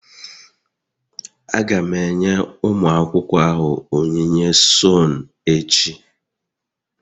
Aga m enye ụmụ akwụkwọ ahụ onyinye sone echi